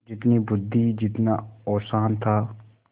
जितनी बुद्वि जितना औसान था